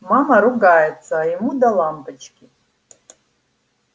мама ругается а ему до лампочки